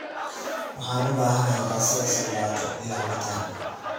Waxaan u baahanahay baastada saldato iyo cabitan